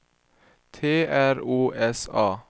T R O S A